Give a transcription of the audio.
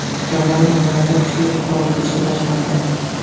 Gavayi orollarida kuchli vulqon otilishi boshlandi.